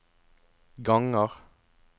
ganger